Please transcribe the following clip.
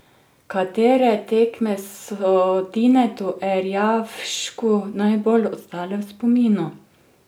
Katere tekme so Tinetu Erjavšku najbolj ostale v spominu?